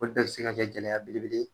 Olu bɛ bi se ka kɛ gɛlɛya belebele ye